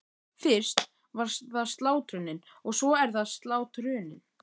Fyrst var það slátrunin- og svo er það slátrunin.